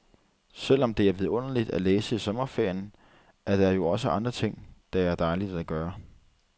Selv om det er vidunderligt at læse i sommerferien, er der jo også andre ting, det er dejligt at gøre.